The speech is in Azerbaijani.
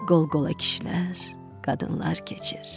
Qol-qola kişilər, qadınlar keçir.